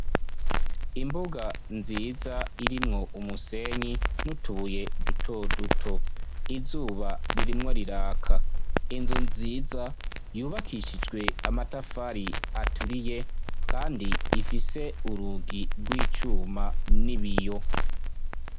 Imbuga nziz' irimw' umusenyi n' utubuye duto-duto, izuba ririko riraka, ikigo c' ishure cubakishijwe n' amatafar' aturiye, gifis' inkingi zisiz' amarang' abir' inyuma yayo har' ibiti bisumb' amashure, hejuru mu kirere har' ibicu vyera, kure gat' ubon' imisozi miremire.